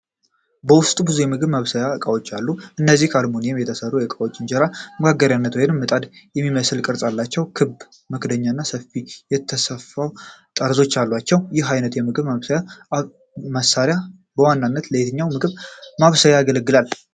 በውስጡ ብዙ የምግብ ማብሰያ እቃዎች አሉ። እነዚህ አልሙኒየም የተሰሩ ዕቃዎች እንጀራ መጋገሪያ ወይም ምጣድ የሚመስል ቅርጽ አላቸው። ክብ መክደኛዎች እና ሰፊ የተሰፋ ጠርዞች አሏቸው። ይህ አይነቱ የምግብ ማብሰያ መሳሪያ በዋናነት ለየትኛው ምግብ ማብሰያ ያገለግላል?